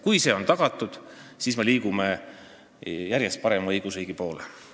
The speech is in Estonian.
Kui see on tagatud, siis me liigume järjest paremini õigusriigi poole.